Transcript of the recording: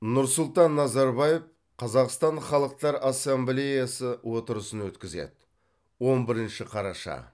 нұрсұлтан назарбаев қазақстан халықтар ассамблеясы отырысын өткізеді он бірінші қараша